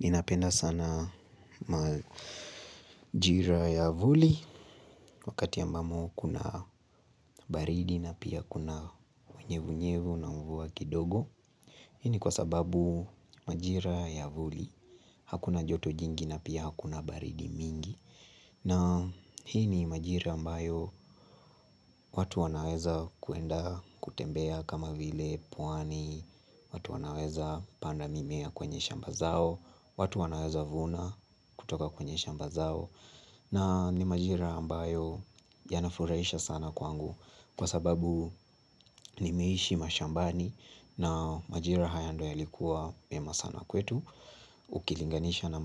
Ninapenda sana majira ya avuli wakati ambamo kuna baridi na pia kuna unyevu nyevu na mvua kidogo Hii ni kwa sababu majira ya avuli hakuna joto jingi na pia hakuna baridi mingi na hii ni majira ambayo watu wanaweza kuenda kutembea kama vile pwani watu wanaweza panda mimea kwenye shamba zao watu wanaweza vuna kutoka kwenye shamba zao na ni majira ambayo yanafurahisha sana kwangu kwa sababu nimeishi mashambani na majira haya ndo yalikuwa mema sana kwetu Ukilinganisha na